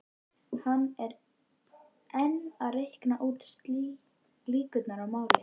Hann er enn að reikna út líkurnar í máli